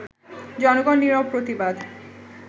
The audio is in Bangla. জনগণ নিরব প্রতিবাদ